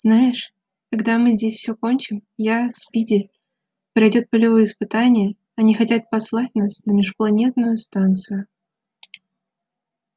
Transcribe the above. знаешь когда мы здесь все кончим я спиди пройдёт полевые испытания они хотят послать нас на межпланетную станцию